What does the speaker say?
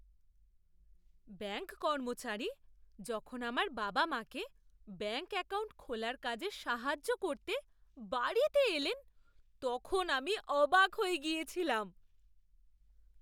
Bank কর্মচারী যখন আমার বাবা মাকে ব্যাঙ্ক অ্যাকাউন্ট খোলার কাজে সাহায্য করতে বাড়িতে এলেন, তখন আমি অবাক হয়ে গিয়েছিলাম।